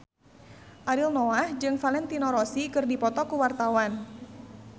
Ariel Noah jeung Valentino Rossi keur dipoto ku wartawan